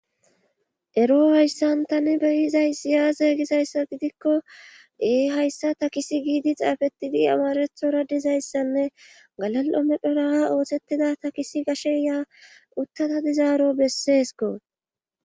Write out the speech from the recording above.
Ero hayssan tani beuizayssi aaze gizayssa gidikko ee hayssa takisi giidi xaafettidi amarethora dizayssanne galal7o medhora oosettada takisi gashe yiya dizaaro besseeskko